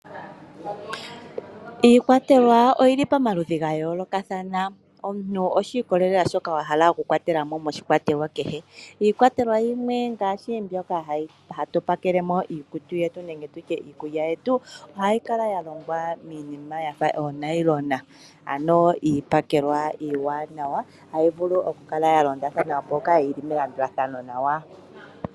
Iikwatelwa oyi li pamaludhi ga yoolokathana omuntu oshi ikolelela shoka wa hala okukwatela mo moshikwatelwa kehe. Iikwatelwa yimwe ngaashi mbyoka hatu pakele mo iikutu yetu nenge tutye iikulya yetu ohayi kala ya longwa miinima ya fa oonayilona. Ano iikwatelwa iiwanawa ohayi vulu okukala ya londathana mpoka yi li melandulathano nawa.